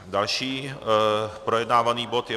Další projednávaný bod je